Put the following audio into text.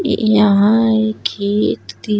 ये यहाँ एक खेत ती --